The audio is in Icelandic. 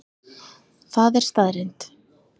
Það er staðreynd